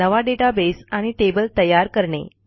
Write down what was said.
नवा डेटाबेस आणि टेबल तयार करणे